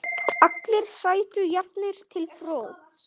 Allir sætu jafnir til borðs.